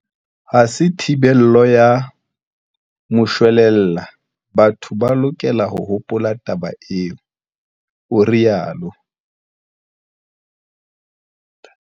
Ha se thibelo ya moshwelella, batho ba lokela ho hopola taba eo, o rialo.